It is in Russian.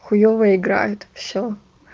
хуеёвая игра это всё